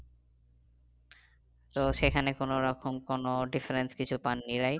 তো সেখানে কোনো রকম কোনো different কিছু পাননি right